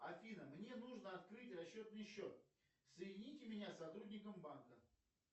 афина мне нужно открыть расчетный счет соедините меня с сотрудником банка